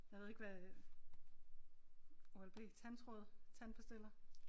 Jeg ved ikke hvad øh Oral-B tandtråd tandpastiller